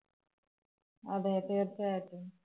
അതെ. തീര്‍ച്ചയായിട്ടും.